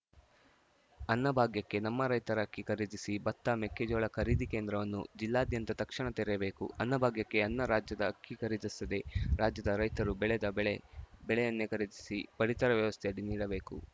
ಅನ್ನಭಾಗ್ಯಕ್ಕೆ ನಮ್ಮ ರೈತರ ಅಕ್ಕಿ ಖರೀದಿಸಿ ಬತ್ತ ಮೆಕ್ಕೆಜೋಳ ಖರೀದಿ ಕೇಂದ್ರವನ್ನು ಜಿಲ್ಲಾದ್ಯಂತ ತಕ್ಷಣ ತೆರೆಯಬೇಕು ಅನ್ನ ಭಾಗ್ಯಕ್ಕೆ ಅನ್ಯ ರಾಜ್ಯದ ಅಕ್ಕಿ ಖರೀದಿಸದೇ ರಾಜ್ಯದ ರೈತರು ಬೆಳೆದ ಬೆಳೆ ಬೆಳೆಯನ್ನೇ ಖರೀದಿಸಿ ಪಡಿತರ ವ್ಯವಸ್ಥೆಯಡಿ ನೀಡಬೇಕು